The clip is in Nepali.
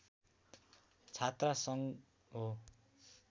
छात्रसङ्घ हो